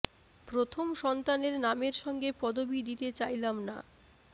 প্রথম সন্তানের নামের সঙ্গে পদবি দিতে চাইলাম না